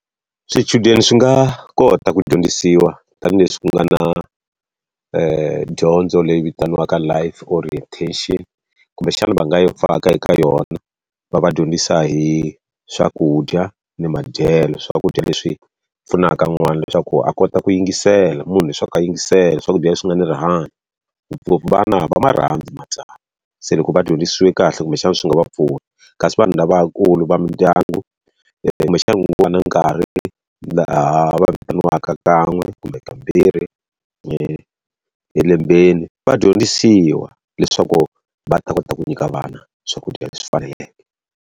Swichudeni swi nga kota ku dyondzisiwa tanihileswi ku nga na tidyondzo leyi vitaniwaka life orientation. Kumbexana va nga yi faka eka yona, va va dyondzisa hi swakudya ni madyelo. Swakudya leswi pfunaka n'wana leswaku a kota ku yingisela, munhu leswaku ka yingisela swakudya leswi nga ni rihanyo. Ngopfungopfu vana va ma rhandzi matsavu, se loko va dyondzisiwe kahle kumbexana swi nga va pfuna. Kasi vanhu lavakulu va mindyangu kumbexani ku nga va na nkarhi laha vitaniwaka kan'we kumbe kambirhi elembeni va dyondzisiwa leswaku va ta kota ku nyika vana swakudya leswi faneleke.